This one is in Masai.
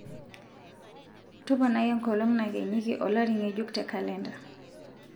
toponai enkolong nakenyiki olari ngejuk te kalenda